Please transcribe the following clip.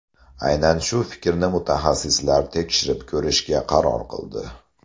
Aynan shu fikrni mutaxassislar tekshirib ko‘rishga qaror qildi.